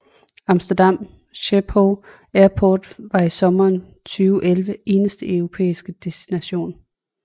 Amsterdam Schiphol Airport var i sommeren 2011 eneste europæiske destination